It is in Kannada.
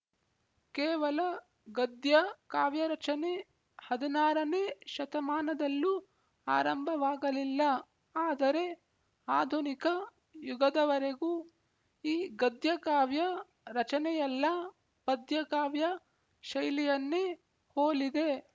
ಕೇವಲ ಗದ್ಯ ಕಾವ್ಯರಚನೆ ಹದಿನಾರನೇ ಶತಮಾನದಲ್ಲೂ ಆರಂಭವಾಗಲಿಲ್ಲ ಆದರೆ ಆಧುನಿಕ ಯುಗದವರೆಗೂ ಈ ಗದ್ಯಕಾವ್ಯ ರಚನೆಯೆಲ್ಲಾ ಪದ್ಯಕಾವ್ಯ ಶೈಲಿಯನ್ನೇ ಹೋಲಿದೆ